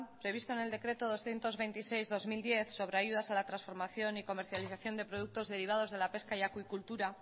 previsto en el decreto doscientos veintiséis barra dos mil diez sobre ayudas a la transformación y comercialización de productos derivados de la pesca y acuicultura